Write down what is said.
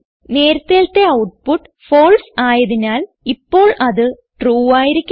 നേരത്തേലത്തെ output false ആയതിനാൽ ഇപ്പോൾ അത് ട്രൂ ആയിരിക്കണം